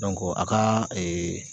a kaa